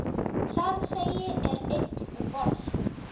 Farþegi er einn um borð.